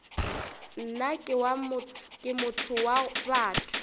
nna ke motho wa batho